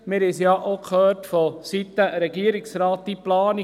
Wir haben es ja auch seitens des Regierungsrates gehört: